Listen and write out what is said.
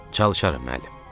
Çalışaram, müəllim.